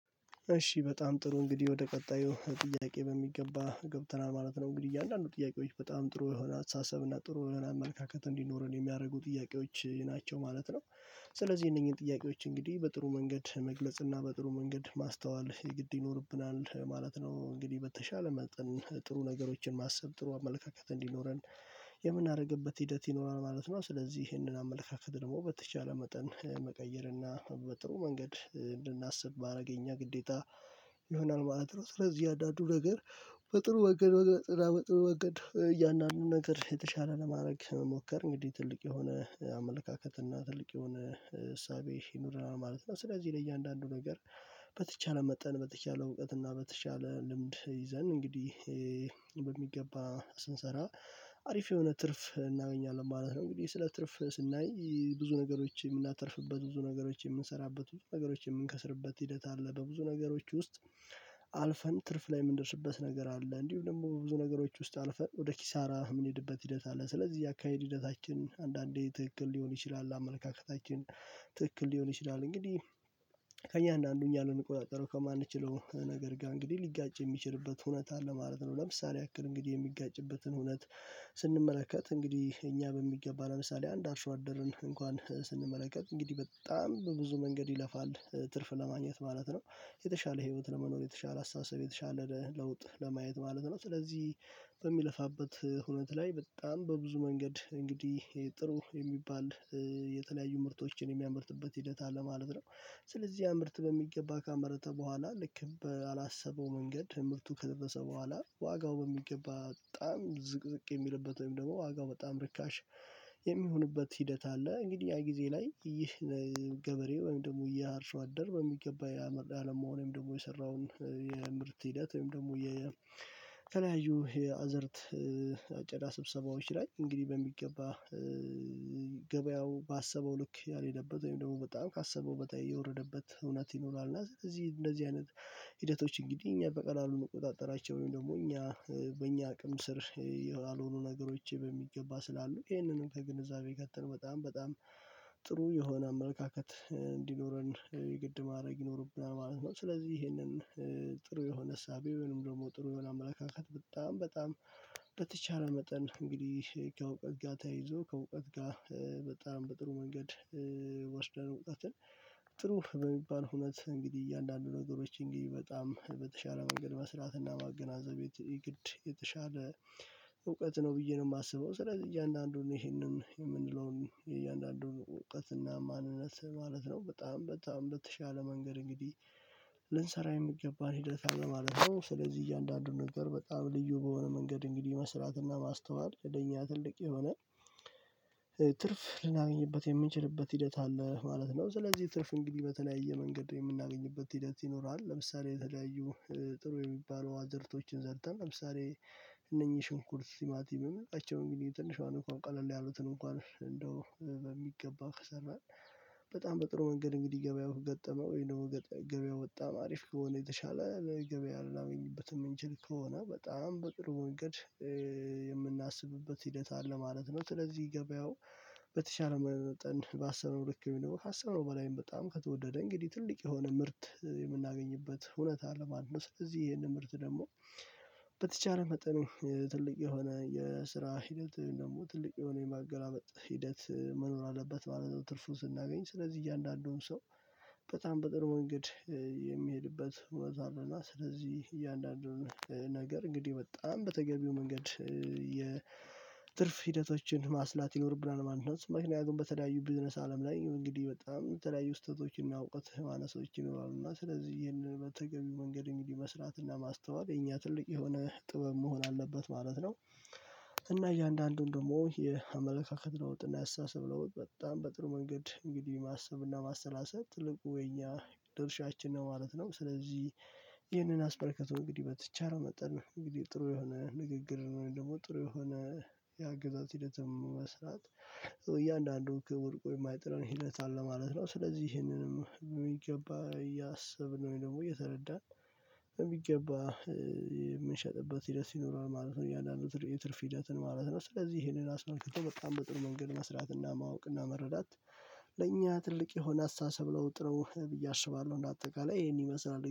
እሺ በጣም ጥሩ እንግዲህ ወደ ቀጣዩ ጥያቄ በሚገባ ገብተናል ማለት ነው እንግዲህ እያንዳንዱ ጥያቄዎች በጣም ጥሩ የሆነ አስተሳሰብ እና ጥሩ የሆነ አመለካከት እንዲኖረን የሚያደርጉ ጥያቄዎች ናቸው ማለት ነው። እሺ በጣም ጥሩ እንግዲህ ወደ ቀጣዩ ጥያቄ በሚገባ ገብተናል ማለት ነው። እንግዲህ እያንዳንዱ ጥያቄዎች በጣም ጥሩ የሆነ አስተሳሰብ እና ጥሩ የሆነ አመለካከት እንዲኖረን የሚያደርጉ ጥያቄዎች ናቸው ማለት ነው። ስለዚህ እነኚህን ጥያቄዎች እንግዲህ በጥሩ መንገድ መግለጽ እና በጥሩ መንገድ ማስተዋል የግድ ይኖርብናል ማለት ነው። እንግዲህ በተሻለ መጠን ጥሩ ነገሮችን ማሰብ ጥሩ አመለካከት እንዲኖረን ይሆናል ማለት ነው። ስለዚህ አንዳንዱ ነገር በጥሩ ወገን በጥሩ ወገን እያንዳንዱ ነገር የተሻለ ለማድረግ መሞከር እንግዲህ ትልቅ የሆነ አመለካከት እና ትልቅ የሆነ እሳቤ ይኖረናል ማለት ነው። ስለዚህ ለእያንዳንዱ ነገር በተቻለ መጠን በተቻለ እውቀት እና በተቻለ ልምድ ይዘን እንግዲህ በሚገባ ስንሰራ አሪፍ የሆነ ትርፍ እናገኛለን ማለት ነው። እንግዲህ ስለ ትርፍ ስናይ ብዙ ነገሮችን እምናተርፍበት ብዙ ነገሮች እምንሰራበት ብዙ ነገሮች እምንከስርበት ሂደት አለ በብዙ ነገሮች ውስጥ አልፈን ትርፍ ላይ እምንደርስበት ነገር አለ። እንዲሁም ደግሞ ብዙ ነገሮች ውስጥ አልፈን ወደ ኪሳራ እምንሄድበት ሂደት አለ። ስለዚህ የአካሄድ ሂደታችን አንዳንዴ ትክክል ሊሆን ይችላል አመለካከታችን ትክክል ሊሆን ይችላል። እንግዲህ ከእያንዳንዱ እኛ ልንቆጣጠረው ከማንችለው ነገር ጋር እንግዲህ ሊጋጭ የሚችልበት ሁኔታ ለማለት ነው። ለምሳሌ ያክል እንግዲህ የሚጋጭበትን ሁኔታ ስንመለከት እንግዲህ እኛ በሚገባ ለምሳሌ አንድ አርሶ አደርን እንኳን ስንመለከት እንግዲህ በጣም በብዙ መንገድ ይለፋል ትርፍ ለማግኘት ማለት ነው የተሻለ ህይወት ለመኖር የተሻለ አስተሳሰብ የተሻለ ለውጥ ለማየት ማለት ነው። ስለዚህ በሚለፋበት ሁኔታ ላይ በጣም በብዙ መንገድ እንግዲህ ጥሩ የሚባል የተለያዩ ምርቶችን የሚያመርትበት ሂደት አለ ማለት ነው። ስለዚህ ምርት በሚገባ ካመረተ በኋላ ልክ በአላሰበው መንገድ ምርቱ ከደረሰ በኋላ ዋጋው በሚገባ በጣም ዝቅዝቅ የሚልበት ወይም ደግሞ ዋጋው በጣም ርካሽ የሚሆንበት ሂደት አለ። እንግዲህ ያ ጊዜ ላይ ይህ ገበሬ ወይም ደግሞ ያ አርሶ አደር በሚገባ የአለማውን ወይም ደግሞ የሰራውን የምርት ሂደት ወይም ደግሞ የተለያዩ የአዘርት አጨዳ ስብሰባዎች ላይ እንግዲህ በሚገባ ባሰበው ልክ ያልሄደበት ወይም ደግሞ በጣም ካሰበው በታይ የወረደበት እውነት ይኖራል። እና ስለዚህ እንደዚህ አይነት ሂደቶች እንግዲህ እኛ በቀላሉ እንቆጣጠራቸው ወይም ደግሞ እኛ በእኛ አቅም ስር ያልሆኑ ነገሮች በሚገባ ስላሉ ይሄንንም ከግንዛቤ ከተን በጣም በጣም ጥሩ የሆነ አመለካከት እንዲኖረን የግድ ማድረግ ይኖርብናል ማለት ነው። ስለዚህ ይሄንን ጥሩ የሆነ ዕሳቤ ወይም ደግሞ ጥሩ የሆነ አመለካከት በጣም በጣም በተቻለ መጠን እንግዲህ ከእውቀት ጋር ተያይዞ ከእውቀት ጋር በጣም በጥሩ መንገድ ወስደን እውቀትን ጥሩ በሚባል ሁነት እንግዲህ እያንዳንዱ ነገሮች እንግዲህ በጣም በተሻለ መንገድ መስራት እና ማገናዘብ የተሻለ እውቀት ነው ብዬ ነው እማስበው። ስለዚህ እያንዳንዱን ይሄንን እምንለውን የእያንዳንዱን ዕወቀትና ማንነት ማለት ነው በጣም በጣም በተሻለ መንገድ እንግዲህ ልንሰራ የሚገባን ሂደት አለ ማለት ነው። ስለዚህ እያንዳንዱን ነገር በጣም ልዩ በሆነ መንገድ እንግዲህ መስራትና ማስተዋል ለኛ ትልቅ የሆነ ትርፍ ልናገኝበት የምንችልበት ሂደት አለ ማለት ነው። ስለዚህ ትርፍ እንግዲህ በተለያየ መንገድ የምናገኝበት ሂደት ይኖራል። ለምሳሌ የተለያዩ ጥሩ የሚባሉ አዝዕርቶችን ዘርተን ለምሳሌ እነኚህ ሽንኩርት ቲማቲም በመልካቸው እንግዲህ ትንሿን እንኳን ቀለል ያሉትን እንኳን እንደው በሚገባ ከሰማን በጣም በጥሩ መንገድ እንግዲህ ገበያውን ገብያው ወይም ደግሞ ገበያው ወጣ አሪፍ ከሆነ የተሻለ ለገበያ ልናገኝበት የምንችል ከሆነ በጣም በጥሩ እንግድ እምናስብበት ሂደት አለ ማለት ነው። ስለዚህ ገብያው በተሻለ መጠን ባሰበው ልክ እሚኖር ካሰበው በላይም በጣም ከተወደደ እንግዲህ ትልቅ የሆነ ምርት የምናገኝበት እውነት አለ ማለት ነው። ስለዚህ ይሄን ምርት ደግሞ በተቻለ መጠኑ ትልቅ የሆነ የስራ ሂደት ደግሞ ትልቅ የሆነ የማገላመጥ ሂደት መኖር አለበት ማለት ነው። ትርፉን ስናገኝ ስለዚህ እያንዳንዱም ሰው በጣም በጥር መንገድ የሚሄድበት ወዝ አለና ስለዚህ እያንዳንዱን ነገር እንግዲህ በጣም በተገቢው መንገድ የትርፍ ሂደቶችን ማስላት ይኖርብናል ማለት ነው። ምክንያቱም በተለያዩ ቢዝነስ አለም ላይ እንግዲህ በጣም የተለያዩ ስተቶችን እና እውቀት ማነሶች ይኖራሉ እና ስለዚህ ይሄንን በተገቢው መንገድ እንግዲህ መስራትና ማስተዋል የኛ ትልቅ የሆነ ጥበብ መሆን አለበት ማለት ነው። እና እያንዳንዱን ደግሞ የአመለካከት ለውጥ እና ያስተሳሰብ ለውጥ በጣም በጥሩ መንገድ እንግዲህ ማሰብ እና ማሰላሰብ ትልቁ የኛ ድርሻችን ነው ማለት ነው። ስለዚህ ይህንን አስመልክቶ እንግዲህ በተቻለው መጠን እንግዲህ ጥሩ የሆነ ንግግር ወይም ደግሞ ጥሩ የሆነ የአገዛዝ ሂደት መስራት እያንዳንዱ ወድቆ የማይጥለን ሂደት አለ ማለት ነው። ስለዚህ ይሄንንም በሚገባ እያሰብን ወይም ደግሞ እየተረዳን በሚገባ የምንሸጥበት ሂደት ይኖራል ማለት ነው። እያንዳንዱ የትርፍ ሂደትን ማለት ነው ስለዚህ ይሄንን አስመልክቶ በጣም በጥሩ መንገድ መስራትና ማወቅና መረዳት ለእኛ ትልቅ የሆነ አሳተሳሰብ ለውጥ ነው ብዬ አስባለሁ። እና አጠቃላይ ይሄን ይመስላል